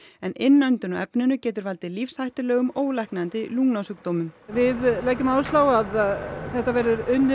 en innöndun á efninu getur valdið lífshættulegum ólæknandi lungnasjúkdómum við leggjum áherslu á að þetta verði unnið